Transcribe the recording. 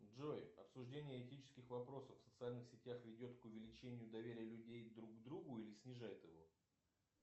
джой обсуждение этических вопросов в социальных сетях ведет к увеличению доверия людей друг к другу или снижает его